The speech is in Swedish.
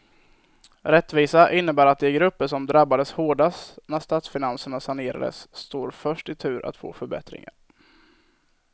Rättvisa innebär att de grupper som drabbades hårdast när statsfinanserna sanerades står först i tur att få förbättringar.